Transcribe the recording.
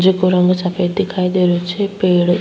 जेको रंग सफ़ेद दिखाई दे रही छे पेड़ --